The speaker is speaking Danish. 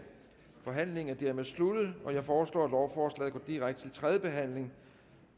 forhandlingen er dermed sluttet jeg foreslår at lovforslaget går direkte til tredje behandling